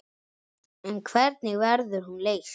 En hvernig verður hún leyst?